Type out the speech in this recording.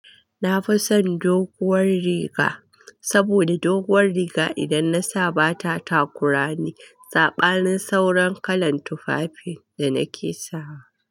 Nafi son doguwar riga, saboda doguwar riga idan nasa ba ta takurani. Sabanin sauran kalan tufafin da nake sawa.